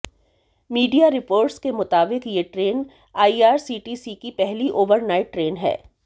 media reports के मुताबिक यह ट्रेन आईआरसीटीसी की पहली ओवरनाइट ट्रेन है